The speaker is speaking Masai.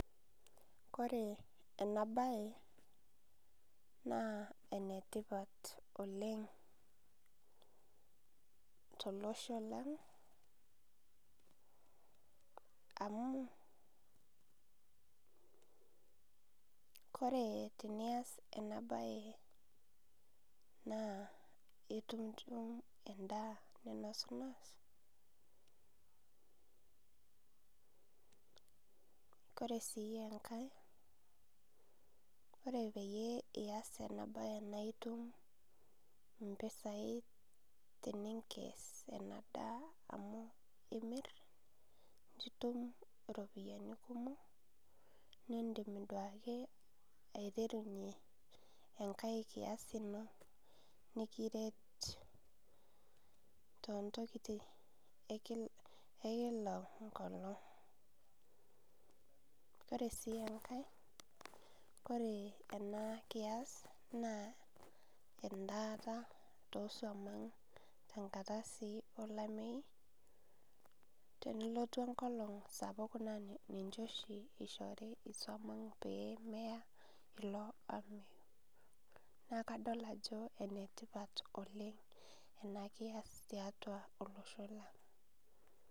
Kore enabae, naa enetipat oleng tolosho lang, amu, kore tenias enabae naa itum endaa ninosnos, kore si enkae, kore peyie ias enabae na itum impisai teninkes enadaa amu imir, nitum iropiyiani kumok, nidim duo ake aiterunye enkae kias ino nikiret tontokiting ekila enkolong'. Kore si enkae, kore enakias, naa endaata tosuam ang tenkata si olameyu, tenelotu enkolong' sapuk naa ninche oshi ishori isuam ang pee meya ilo ameyu. Nakadol ajo enetipat oleng enakias tiatua olosho lang.